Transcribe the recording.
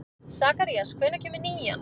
Sakarías, hvenær kemur nían?